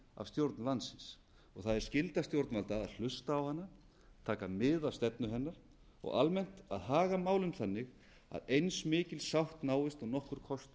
af stjórn landsins það er skylda stjórnvalda að hlusta á hana taka mið af stefnu hennar og almennt að haga málum þannig að eins mikil sátt náist og nokkur kostur er